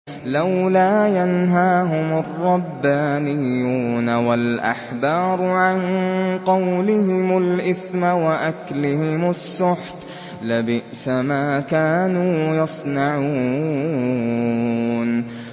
لَوْلَا يَنْهَاهُمُ الرَّبَّانِيُّونَ وَالْأَحْبَارُ عَن قَوْلِهِمُ الْإِثْمَ وَأَكْلِهِمُ السُّحْتَ ۚ لَبِئْسَ مَا كَانُوا يَصْنَعُونَ